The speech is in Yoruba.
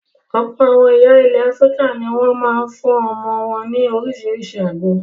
Ọ̀pọ̀ àwọn ìyá ilẹ̀ Áfíríkà ní wọ́n máa ń fún àwọn ọmọ wọn ní oríṣiríṣi àgbo.